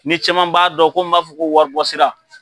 Ni caman b'a dɔn ko n b'a fɔ ko waribɔsira.